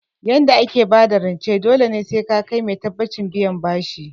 Yanda ake bada rance dole ne sai ka kai mai tabbacin biyan bashi